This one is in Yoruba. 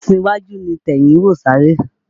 Ẹsin iwájú ni tẹ̀yìn ń wò sáré